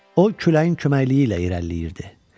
O küləyin köməkliyi ilə irəliləyirdi.